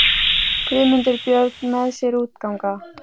Guðmundur Björn með sér út ganga.